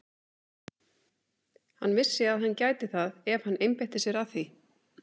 Hann vissi að hann gæti það ef hann einbeitti sér að því.